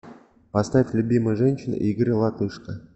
поставь любимая женщина игоря латышко